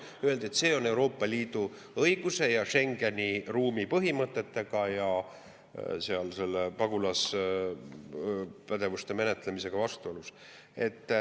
Öeldi, et see on Euroopa Liidu õiguse ja Schengeni ruumi põhimõtetega, sealhulgas pagulaspädevuste menetlemisega vastuolus.